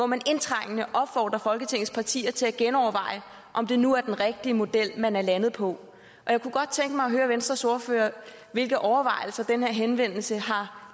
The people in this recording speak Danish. man indtrængende opfordrer folketingets partier til at genoverveje om det nu er den rigtige model man er landet på jeg kunne godt tænke mig at høre venstres ordfører hvilke overvejelser den her henvendelse har